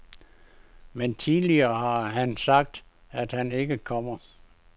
Men tidligere har han sagt, at han ikke kommer.